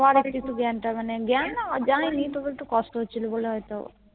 তারপরে আমার একটু এটা জ্ঞান তা মানে জ্ঞান না যায়নি তাওএকটু কষ্ট হচ্ছিলো বলে হয়তো